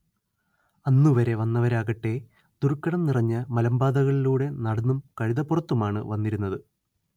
അന്നുവരെ വന്നവരാകട്ടേ ദുർഘടം നിറഞ്ഞ മലമ്പാതകളിലൂടെ നടന്നും കഴുതപ്പുറത്തുമാണ്‌ വന്നിരുന്നത്